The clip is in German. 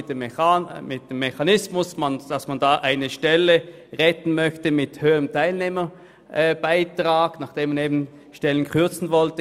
Gestern wollte man Stellen kürzen, und nun möchte man durch einen höheren Teilnehmerbeitrag eine Stelle retten.